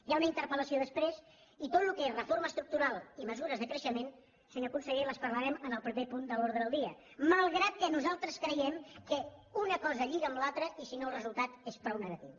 hi ha una interpel·lació després i tot el que és reforma estructural i mesures de creixement senyor conseller les parlarem en el proper punt de l’ordre del dia malgrat que nosaltres creiem que una cosa lliga amb l’altra i si no el resultat és prou negatiu